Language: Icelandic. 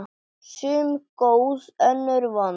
Sum góð, önnur vond.